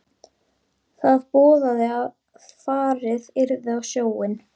Það boðaði að farið yrði á sjóinn.